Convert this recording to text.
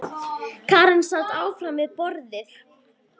Karen sat áfram við borðið.